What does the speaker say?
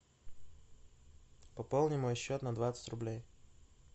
пополни мой счет на двадцать рублей